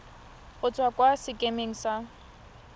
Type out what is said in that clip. go tswa kwa sekemeng sa